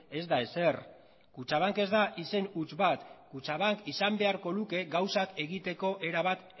ez da ezer kutxabank ez da izen huts bat kutxabank izan beharko luke gauzak egiteko erabat